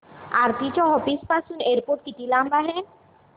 आरती च्या ऑफिस पासून एअरपोर्ट किती लांब आहे